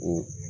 O